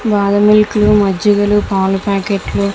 బాదము milk లు మజ్జిగలు పాల ప్యాకెట్లు --